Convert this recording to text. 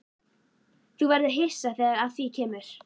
Þú verður hissa þegar að því kemur.